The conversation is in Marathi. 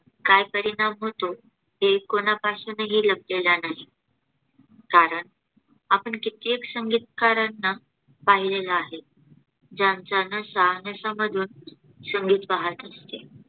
काय परिणाम होतो हे कोणापासून ही लपलेलं नाही. कारण आपण कित्येक संगीतकारांना पाहिलेलं आहे, ज्यांच्या शहानिशा मधून संगीत वाहत असते.